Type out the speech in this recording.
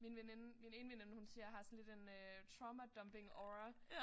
Min veninde min ene veninde hun siger jeg har sådan lidt en øh trauma dumping aura